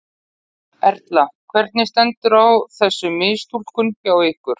Erla: Hvernig stendur á þessu mistúlkun hjá ykkur?